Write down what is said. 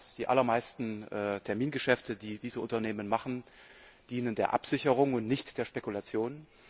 Die allermeisten Termingeschäfte, die diese Unternehmen machen, dienen der Absicherung und nicht der Spekulation.